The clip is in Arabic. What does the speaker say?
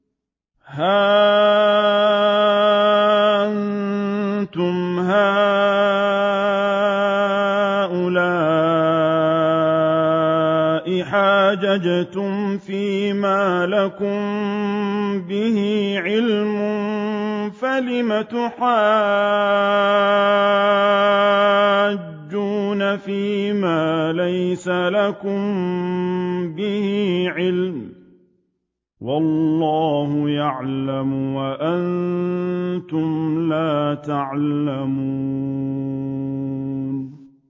هَا أَنتُمْ هَٰؤُلَاءِ حَاجَجْتُمْ فِيمَا لَكُم بِهِ عِلْمٌ فَلِمَ تُحَاجُّونَ فِيمَا لَيْسَ لَكُم بِهِ عِلْمٌ ۚ وَاللَّهُ يَعْلَمُ وَأَنتُمْ لَا تَعْلَمُونَ